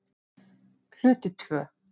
Hluti II